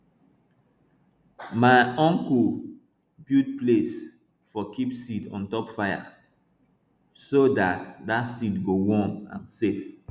my unko build place for keep seed on top fire so dat so dat seed go warm and safe